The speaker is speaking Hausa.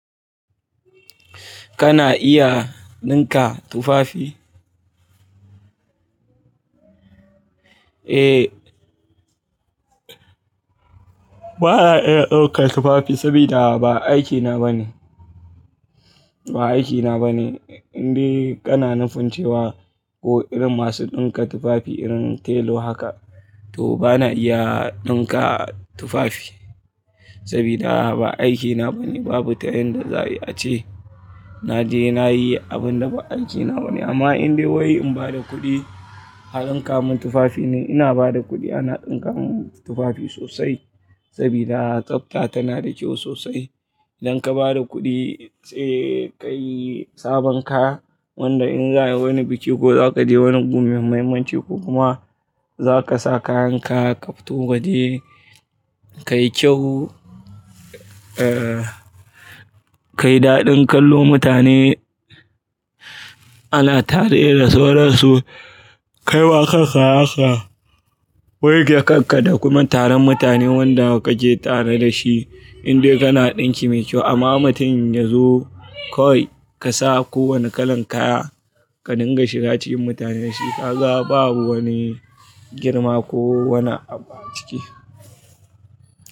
Kana iya ɗinka tufafi? Eh. Ba na iya ɗaukar tufafi sabida ba aikina ba ne. Ba aikina ba ne. In dai kana nufin cewa ko irin masu ɗinka tufafi irin tailo haka to ba na iya ɗinka tufafi sabida ba aikina ba ne. Babu ta yanda za a ce na je na yi abin da ba aikina ba ne amma in dai wai in ba da kuɗi a ɗinka min tufafi ne, ina ba da kuɗi ana ɗinka min tufafi sosai sabida tsafta tana da kyau sosai. Idan ka ba da kuɗi sai ka yi sabon kaya wanda in za yi wani biki ko za ka je wani gu mai muhimmanci ko kuma za ka sa kayanka ka fito waje, ka yi kyau, eh, ka yi daɗin kallo mutane ana tare da sauransu. Kai wa kanka haka, wanke kanka da kuma taron mutane wanda kake tare da shi in dai kana ɗinki mai kyau amma mutum ya zo kawai ka sa kowane kalan kaya ka ɗinga shi da cikin mutane, shi ka ga babu wani girma ko wani abu a ciki.